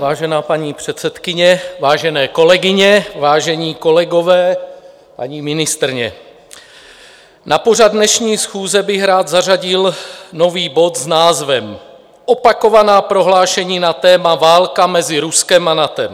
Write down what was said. Vážená paní předsedkyně, vážené kolegyně, vážení kolegové, paní ministryně, na pořad dnešní schůze bych rád zařadil nový bod s názvem Opakovaná prohlášení na téma válka mezi Ruskem a NATO.